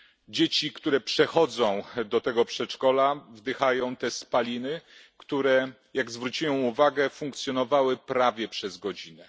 Dzieci, które przechodzą do tego przedszkola, wdychają te spaliny, które jak zwróciłem uwagę, funkcjonowały prawie przez godzinę.